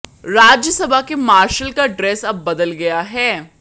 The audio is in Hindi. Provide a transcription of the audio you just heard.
राज्यसभा के मार्शल का ड्रेस अब बदल गया है